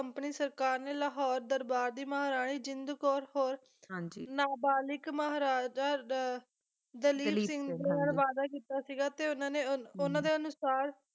company ਸਰਕਾਰ ਨੇ ਲਾਹੌਰ ਦਰਬਾਰ ਦੀ ਮਹਾਰਾਣੀ ਜਿੰਦ ਕੌਰ ਹੋਰ ਨਾਬਾਲਿਗ ਮਹਾਰਾਜਾ ਦ ਦਲੀਪ ਸਿੰਘ ਦੇ ਨਾਲ ਵਾਅਦਾ ਕੀਤਾ ਸੀਗਾ ਤੇ ਉਹਨਾਂ ਨੇ ਉਹਨਾਂ ਦੇ ਅਨੁਸਾਰ